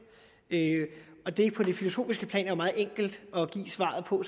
på det filosofiske plan er meget enkelt at give svaret på